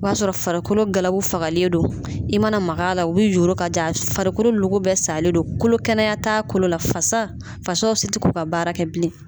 O y'a sɔrɔ farikolo fagalen fagalen don i mana mak'a la o bi yoro ka ja farikolo logo bɛ salen don kolo kɛnɛya ta kolo la fasa fasaw si t'u ka baara kɛ bilen.